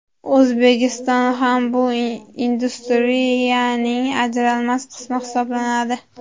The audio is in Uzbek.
O‘zbekiston ham bu industriyaning ajralmas qismi hisoblanadi.